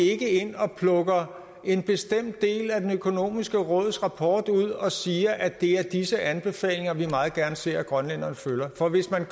ikke ind og plukker en bestemt del af det økonomiske råds rapport ud og siger at det er disse anbefalinger vi meget gerne ser at grønlænderne følger for hvis man